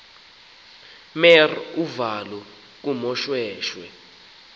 mer uvalo kumoshweshwe